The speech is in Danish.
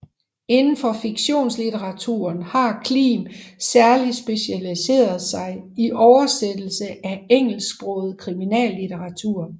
Inden for fiktionslitteraturen har Klim særligt specialiseret sig i oversættelse af engelsksproget kriminallitteratur